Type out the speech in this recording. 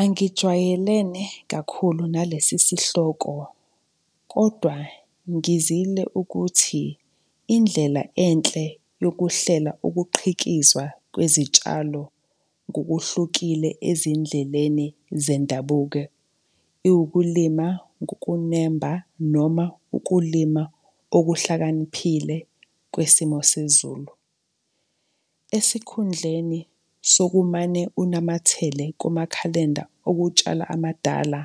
Angijwayelene kakhulu nalesi sihloko kodwa ngizile ukuthi indlela enhle yokuhlela ukuqhikizwa kwezitshalo ngokuhlukile ezindleleni zendabuko, iwukulima kukunemba noma ukulima okuhlakaniphile kwesimo sezulu. Esikhundleni sokumane unamathele kumakhalenda okutshala amadala,